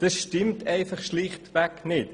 Das stimmt schlichtweg nicht!